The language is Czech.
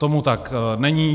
Tomu tak není.